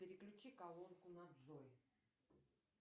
переключи колонку на джой